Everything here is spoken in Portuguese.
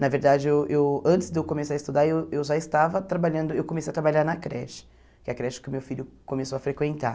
Na verdade, eu eu antes de eu começar a estudar, eu eu já estava trabalhando, eu comecei a trabalhar na creche, que é a creche que o meu filho começou a frequentar.